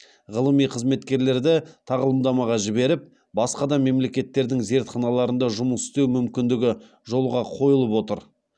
ғылыми қызметкерлерді тағылымдамаға жіберіп басқа да мемлекеттердің зертханаларында жұмыс істеу мүмкіндігі жолға қойылып отыр